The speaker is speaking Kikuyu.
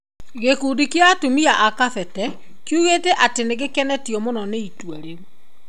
Gĩkundi kĩa atumia a kabete kĩugĩte atĩ nĩ gĩkenĩtio mũno nĩ itua rĩu.